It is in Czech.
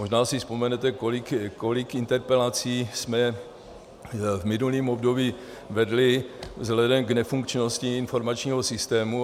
Možná si vzpomenete, kolik interpelací jsme v minulém období vedli vzhledem k nefunkčnosti informačního systému.